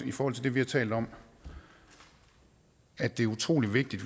i forhold til det vi har talt om at det er utrolig vigtigt